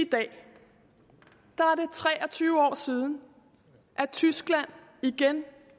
tre og tyve år siden at tyskland igen